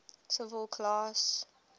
civil class